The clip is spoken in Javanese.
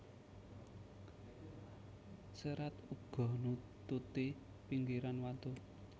Cerat uga nututi pinggiran watu